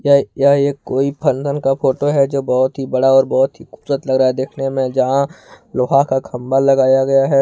ये यह कोई फंधन का फोटो है जो बहुत ही बड़ा और बहुत ही खूबसूरत लग रहा है देखने में जहां लोहा का खंबा लगाया गया है।